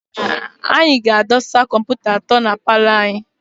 Anyị ga-adọsa kọmputa atọ na paalọ anyị.